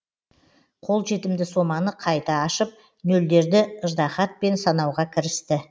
қолжетімді соманы қайта ашып нөлдерді ыждағатпен санауға кірісті